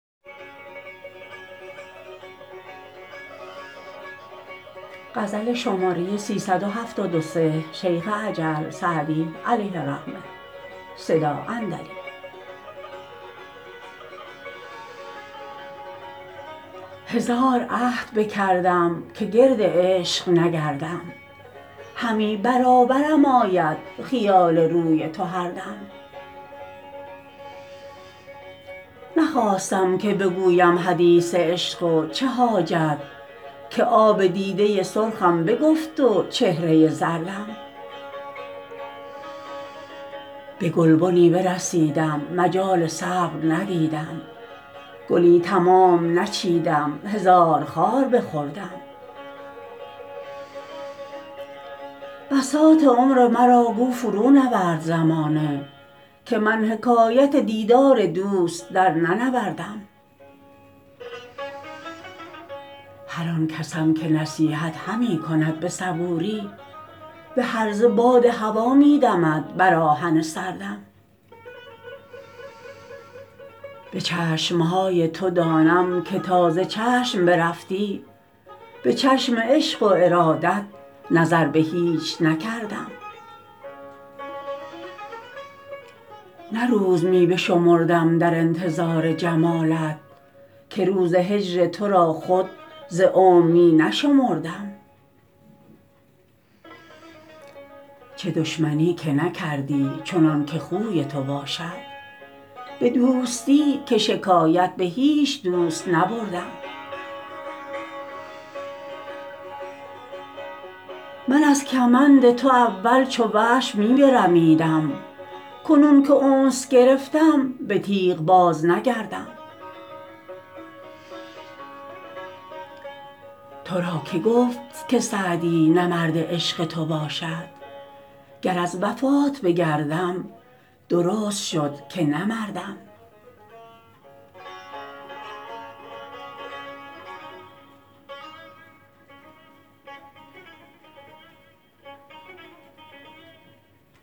هزار عهد بکردم که گرد عشق نگردم همی برابرم آید خیال روی تو هر دم نخواستم که بگویم حدیث عشق و چه حاجت که آب دیده سرخم بگفت و چهره زردم به گلبنی برسیدم مجال صبر ندیدم گلی تمام نچیدم هزار خار بخوردم بساط عمر مرا گو فرونورد زمانه که من حکایت دیدار دوست درننوردم هر آن کسم که نصیحت همی کند به صبوری به هرزه باد هوا می دمد بر آهن سردم به چشم های تو دانم که تا ز چشم برفتی به چشم عشق و ارادت نظر به هیچ نکردم نه روز می بشمردم در انتظار جمالت که روز هجر تو را خود ز عمر می نشمردم چه دشمنی که نکردی چنان که خوی تو باشد به دوستی که شکایت به هیچ دوست نبردم من از کمند تو اول چو وحش می برمیدم کنون که انس گرفتم به تیغ بازنگردم تو را که گفت که سعدی نه مرد عشق تو باشد گر از وفات بگردم درست شد که نه مردم